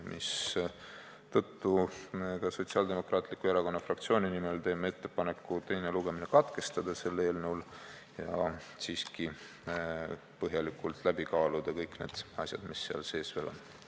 Seetõttu teeb Sotsiaaldemokraatliku Erakonna fraktsioon ettepaneku teine lugemine katkestada ja kaaluda põhjalikult läbi kõik need asjad, mis selles eelnõus on.